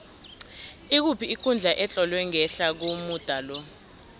ikuphi ikundla etlolwe ngehla komuda lo